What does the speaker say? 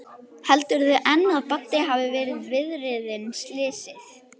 Heldurðu enn að Baddi hafi verið viðriðinn slysið?